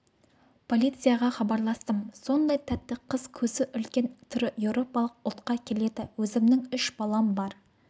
полицияға хабарластым сондай тәтті қыз көзі үлкен түрі еуропалық ұлтқа келеді өзімнің үш балам бар